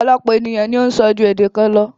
Ọ̀pọ̀lọpọ̀ ènìyàn ni o ń sọ ju èdè kan lọ.